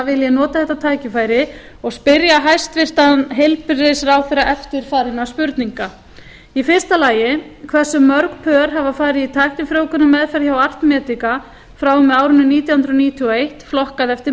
vil ég nota þetta tækifæri og spyrja hæstvirtan heilbrigðisráðherra eftirfarandi spurninga fyrsta hversu mörg pör hafa farið í tæknifrjóvgunarmeðferð hjá art medica frá og með árinu nítján hundruð níutíu og eitt flokkað eftir